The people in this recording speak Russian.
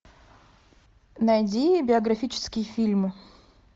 найди биографические фильмы